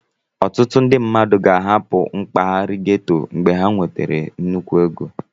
Ọtụtụ ndị mmadụ ga-ahapụ mpaghara gétò ozugbo ha nwetara nnukwu ego